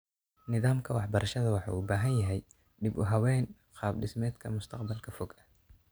Nidaamka waxbarashada waxa uu u baahan yahay dib-u-habayn qaab dhismeedka mustaqbalka fog ah.